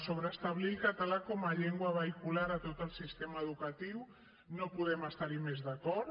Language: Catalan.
sobre establir el català com a llengua vehicular a tot el sistema educatiu no podem estar hi més d’acord